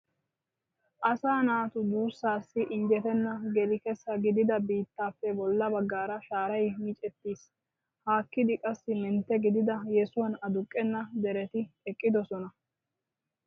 Asaa naatu duussaassi injjetenna geli kessa gidida biittaappe bolla baggaara shaaray micettiis. Haakkidi qassi mentte gidida yesuwan aduqqenna dereti eqqidosona.